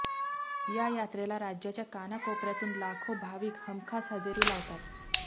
या यात्रेला राज्याच्या कानाकोपर्यातून लाखो भाविक हमखास हजेरी लावतात